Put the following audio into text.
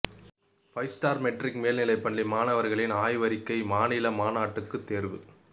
five star matric மேல்நிலைப்பள்ளி மாணவர்களின் ஆய்வறிக்கை மாநில மாநாட்டுக்கு தேர்வு